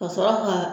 Ka sɔrɔ ka